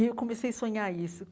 E eu comecei sonhar isso.